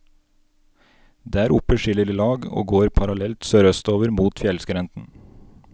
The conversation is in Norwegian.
Der oppe skiller de lag og går parallelt sørøstover mot fjellskrenten.